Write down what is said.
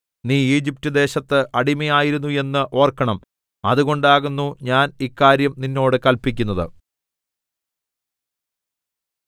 നീ ഈജിപ്റ്റ് ദേശത്ത് അടിമയായിരുന്നു എന്ന് ഓർക്കണം അതുകൊണ്ടാകുന്നു ഞാൻ ഇക്കാര്യം നിന്നോട് കല്പിക്കുന്നത്